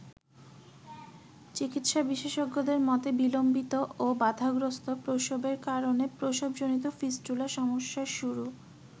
চিকিৎসা বিশেষজ্ঞদের মতে বিলম্বিত ও বাধাগ্রস্থ প্রসবের কারণে প্রসবজনিত ফিস্টুলার সমস্যার শুরু।